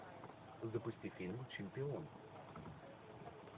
запусти фильм чемпион